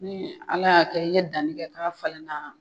Ɲii ala y'a kɛ k'i ye danni kɛ k'a falen na